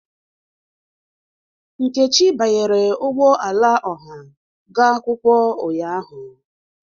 Nkechi banyere ụgbọ ala ọha ga akwụkwọ ụnyahụ.